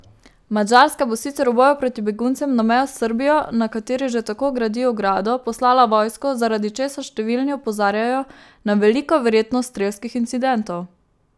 Madžarska bo sicer v boju proti beguncem na mejo s Srbijo, na kateri že tako gradi ogrado, poslala vojsko, zaradi česar številni opozarjajo na veliko verjetnost strelskih incidentov.